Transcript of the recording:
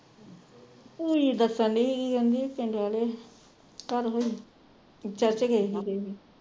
ਦੱਸਣ ਢਈ ਸੀ ਕਹਿੰਦੀ ਚਰਚ ਗਏ